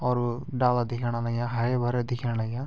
और डाला दिखेंण लग्या हारा भरा दिखेण लग्या ।